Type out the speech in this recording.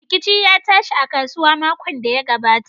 Rikici ya tashi a kasuwa makon da ya gabata.